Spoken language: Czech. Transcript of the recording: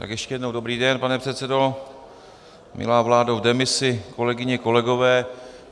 Tak ještě jednou dobrý den, pane předsedo, milá vládo v demisi, kolegyně, kolegové.